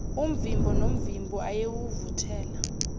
umvimbo nomvimbo ayewuvuthela